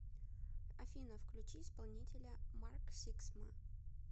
афина включи исполнителя марк сиксма